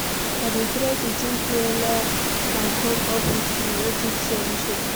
I dey try to think wella and come up with creative solutions.